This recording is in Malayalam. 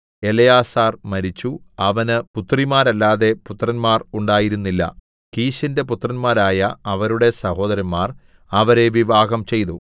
എലെയാസാർ മരിച്ചു അവന് പുത്രിമാരല്ലാതെ പുത്രന്മാർ ഉണ്ടായിരുന്നില്ല കീശിന്റെ പുത്രന്മാരായ അവരുടെ സഹോദരന്മാർ അവരെ വിവാഹംചെയ്തു